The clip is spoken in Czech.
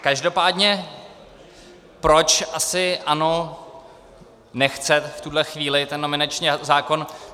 Každopádně proč asi ANO nechce v tuhle chvíli ten nominační zákon.